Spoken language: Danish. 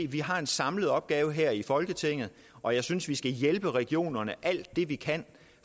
vi har en samlet opgave her i folketinget og jeg synes vi skal hjælpe regionerne alt det vi kan